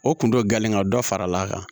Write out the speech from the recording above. O kun dɔ gen ka dɔ fara a kan